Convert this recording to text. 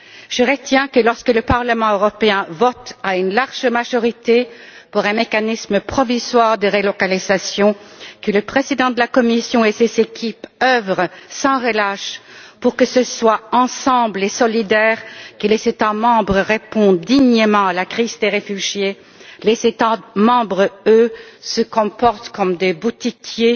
Je retiens que, lorsque le Parlement européen vote à une large majorité pour un mécanisme provisoire de relocalisation, que le président de la Commission et ses équipes œuvrent sans relâche pour que ce soit ensemble et solidaires que les États membres répondent dignement à la crise des réfugiés, les États membre, eux, se comportent comme des boutiquiers,